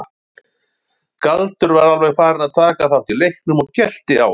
Galdur var alveg farinn að taka þátt í leiknum og gelti á hann.